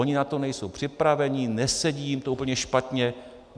Oni na to nejsou připraveni, nesedí jim to, úplně špatně.